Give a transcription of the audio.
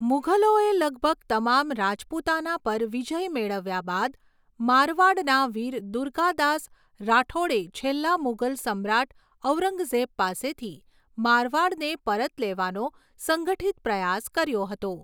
મુઘલોએ લગભગ તમામ રાજપૂતાના પર વિજય મેળવ્યા બાદ, મારવાડના વીર દુર્ગાદાસ રાઠોડે છેલ્લા મુઘલ સમ્રાટ ઔરંગઝેબ પાસેથી મારવાડને પરત લેવાનો સંગઠિત પ્રયાસ કર્યો હતો.